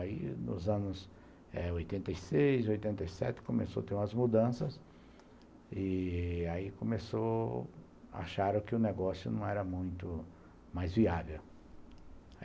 Aí, nos anos eh oitenta e seis, oitenta e sete, começou a ter umas mudanças, e aí começou, acharam que o negócio não era muito mais viável.